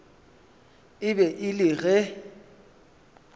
e be e le ge